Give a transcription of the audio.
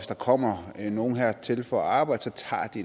der kommer nogle hertil for at arbejde tager de